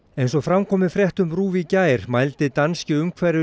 eins og fram kom í fréttum RÚV í gær mældi danski